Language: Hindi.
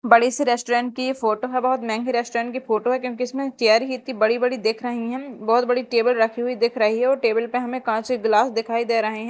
बड़े से रेस्टोरेंट की फोटो है बहुत महंगे रेस्टोरेंट की फोटो है क्योंकि इसमें चेयर ही इतनी बड़ी बड़ी दिख रही हैं बहुत बड़ी टेबल रखी हुई दिख रही है और टेबल पे हमें कांच के गिलास दिखाई दे रहे हैं।